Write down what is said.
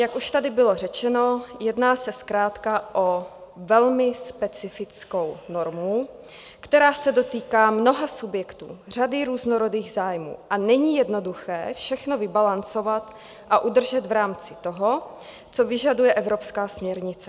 Jak už tady bylo řečeno, jedná se zkrátka o velmi specifickou normu, která se dotýká mnoha subjektů, řady různorodých zájmů a není jednoduché všechno vybalancovat a udržet v rámci toho, co vyžaduje evropská směrnice.